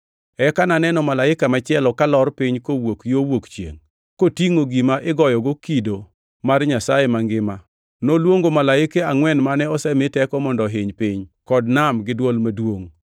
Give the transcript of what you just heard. Eka naneno malaika machielo kalor piny kowuok yo wuok chiengʼ, kotingʼo gima igoyogo kido mar Nyasaye mangima. Noluongo malaike angʼwen mane osemi teko mondo ohiny piny kod nam gi dwol maduongʼ.